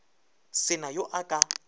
se na yo a ka